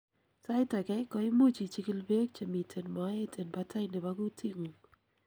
sait agei, koimuch ichikil beek chemiten moet en batai nebo gutit ngung